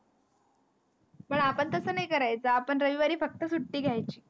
पण आपण तसं नाही करायचा आपन रविवारी फक्त सुट्टी घ्यायची.